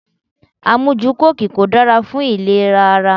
Amuju kóòki kò dára fún ìlera ara.